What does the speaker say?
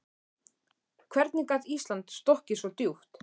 Hvernig gat Ísland sokkið svo djúpt?